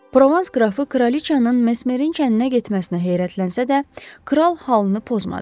Provans qrafı kraliçanın Mesmerin kəndinə getməsinə heyrətlənsə də, kral halını pozmadı.